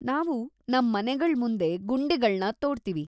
ನಾವು ನಮ್ ಮನೆಗಳ್ಮುಂದೆ ಗುಂಡಿಗಳ್ನ ತೋಡ್ತೀವಿ.